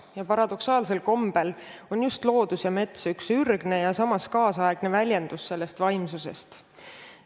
Ja paradoksaalsel kombel on just loodus ja mets ürgne ja samas kaasaegne väljendus sellest vaimsusest.